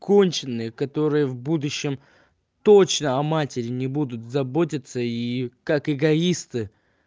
конченые которые в будущем точно а матери не будут заботиться и как эгоисты